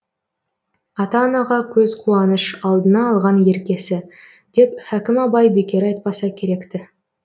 ата анаға көз қуаныш алдына алған еркесі деп хәһім абай бекер айтпаса керек ті